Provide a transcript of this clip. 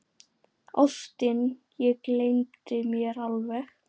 Ástin, ég gleymdi mér alveg!